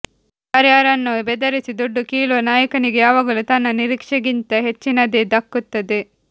ಯಾರ್ಯಾರನ್ನೋ ಬೆದರಿಸಿ ದುಡ್ಡು ಕೀಳುವ ನಾಯಕನಿಗೆ ಯಾವಾಗಲೂ ತನ್ನ ನಿರೀಕ್ಷೆಗಿಂತ ಹೆಚ್ಚಿನದೇ ದಕ್ಕುತ್ತದೆ